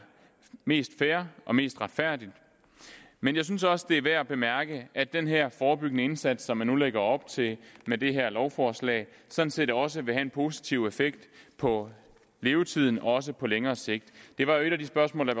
mest fair og mest retfærdigt men jeg synes også det er værd at bemærke at den her forebyggende indsats som man nu lægger op til med det her lovforslag sådan set også vil have en positiv effekt på levetiden også på længere sigt det var jo et af de spørgsmål der